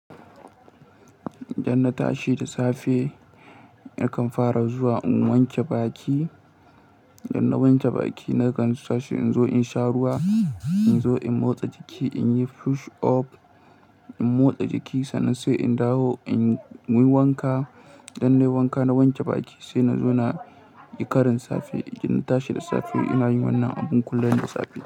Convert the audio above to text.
Idan na tashi da safe nakan fara zuwa in wanke baki. Idan na wanke baki nakan tashi in zo in sha ruwa, in zo in motsa jiki, in yi push up, in motsa jiki sannan sai in dawo in yi wanka. Idan na yi wanka na wanke baki sai na zo na yi karin safe. Idan na tashi da safe ina yin wannan abun kullum da safe.